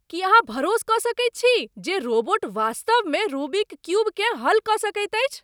की अहाँ भरोस कऽ सकैत छी जे रोबोट वास्तवमे रूबिक क्यूबकेँ हल कऽ सकैत अछि?